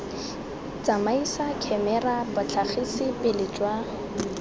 tsamaisa khemera botlhagisi pele jwa